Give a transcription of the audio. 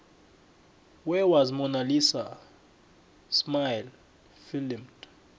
where was mona lisa smile filmed